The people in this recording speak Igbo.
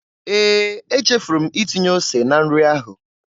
Ee, echefuru m itinye ose na nri ahụ.